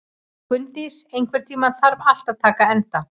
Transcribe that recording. Gunndís, einhvern tímann þarf allt að taka enda.